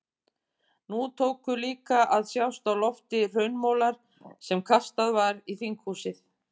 Nú tóku líka að sjást á lofti hraunmolar sem kastað var í þinghúsið.